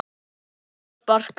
hóta að sparka